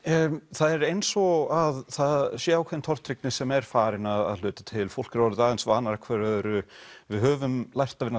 það er eins og það sé ákveðin tortryggni sem er farin að hluta til fólk er orðið aðeins vanara hverju öðru við höfum lært að vinna